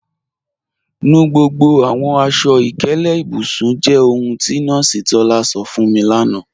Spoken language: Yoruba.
Nù gbogbo àwọn aṣọ-ìkẹlẹ̀ ìbùsùn jẹ́ ohun tí Nọọsi Tọlá sọ̀ fún mi lána.